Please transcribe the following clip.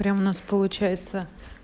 прям у нас получается